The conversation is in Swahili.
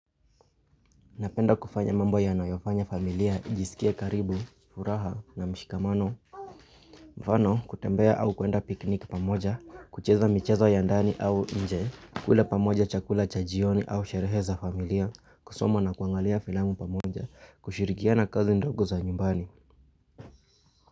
Napenda kufanya mambo yanayofanya familia, ijisikie karibu, furaha na mshikamano. Mfano, kutembea au kuenda piknik pamoja, kucheza michezo ya ndani au nje, kula pamoja chakula cha jioni au sherehe za familia, kusoma na kuangalia filamu pamoja, kushirikiana kazi ndogo za nyumbani.